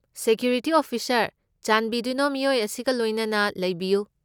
Security officer, ꯆꯥꯟꯕꯤꯗꯨꯅ ꯃꯤꯑꯣꯏ ꯑꯁꯤꯒ ꯂꯣꯏꯅꯅ ꯂꯩꯕꯤꯌꯨ꯫